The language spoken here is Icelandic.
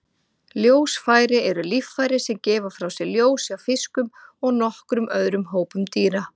Ljósfæri eru líffæri sem gefa frá sér ljós hjá fiskum og nokkrum öðrum hópum dýra.